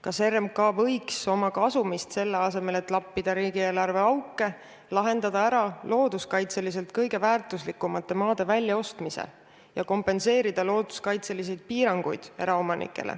Kas RMK võiks oma kasumi abil selle asemel, et lappida riigieelarve auke, lahendada looduskaitseliselt kõige väärtuslikumate maade väljaostmise probleeme ja kompenseerida erametsaomanikele looduskaitselisi piiranguid?